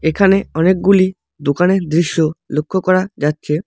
এখানে অনেকগুলি দোকানের দৃশ্য লক্ষ করা যাচ্ছে।